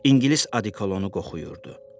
İngilis odikolonu qoxuyurdu.